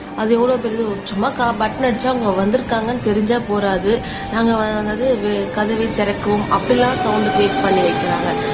அது எவ்வளவு பெரியது சும்மா பட்டன் அடிச்சா அவங்க வந்திருக்காங்கன்னு தெரிஞ்சா போறாது நாங்க கதவை திறக்கவும் அப்படியெல்லாம் சவுண்ட் கிரியேட் பண்ணி வைக்கிறாங்க